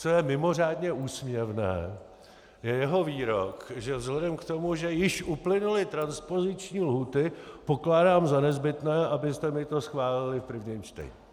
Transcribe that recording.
Co je mimořádně úsměvné, je jeho výrok, že vzhledem k tomu, že již uplynuly transpoziční lhůty, pokládám za nezbytné, abyste mi to schválili v prvním čtení!